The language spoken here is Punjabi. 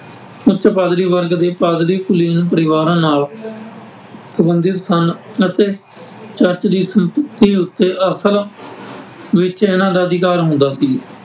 ਉੱਚ ਪਾਦਰੀ ਵਰਗ ਦੇ ਪਾਦਰੀ ਕੁਲੀਨ ਪਰਿਵਾਰਾਂ ਨਾਲ ਸੰਬੰਧਿਤ ਸਨ ਅਤੇ ਚਰਚ ਦੀ ਸੰਪੱਤੀ ਉੱਤੇ ਅਸਲ ਵਿੱਚ ਇਹਨਾਂ ਦਾ ਅਧਿਕਾਰ ਹੁੰਦਾ ਸੀ ।